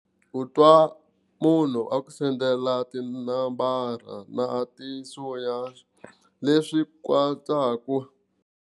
Ku twa munhu a ku sendela tinambara na ti leswi katsaku.